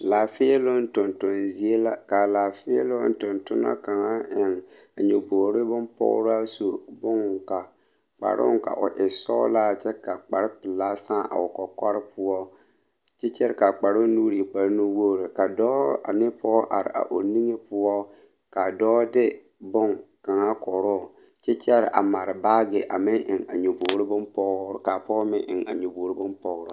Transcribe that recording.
Laafēēloŋ tonton zie la kaa Laafēēloŋ tontonɔ kaŋa a eŋ a nyobogre bonpɔgraa su bon ka kparoo ka o e sɔglaa kyɛ ka kparepelaa sãã a o kɔkɔre poɔ kyɛ kyɛre kaa kparoŋ nuure kparenuwogre ka dɔɔ ane pɔɔ are a o niŋe poɔ kaa dɔɔ de bonkaŋa koroo kyɛ kyɛre a mare baagi a meŋ eŋ a nyobogre bonpɔgre kaa pɔge meŋ eŋ nyobogre bonpɔgraa.